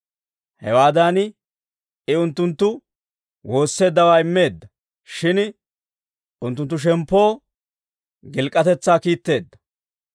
Hewaadan I unttunttu woosseeddawaa immeedda; shin unttunttu shemppoo gilk'k'atetsaa kiitteedda.